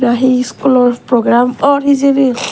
he schoolor program or hejani